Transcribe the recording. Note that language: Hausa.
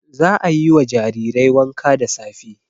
Za a yi wa jarirai wanka da safe.